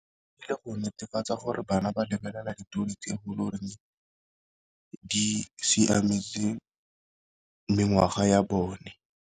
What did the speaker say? Ka go netefatsa gore bana ba lebelela ditori tse e le gore di siametse mengwaga ya bone.